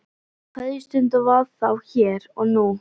Kveðjustundin var þá hér og nú.